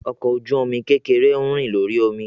Ọkọ oju-omi kekere ń rin lori omi.